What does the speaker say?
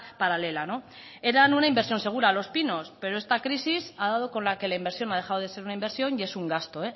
paralela eran una inversión segura los pinos pero esta crisis ha dado con la que la inversión ha dejado de ser una inversión y es un gasto